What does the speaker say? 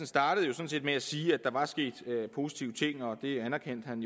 startede med at sige at der var sket positive ting og at det anerkendte han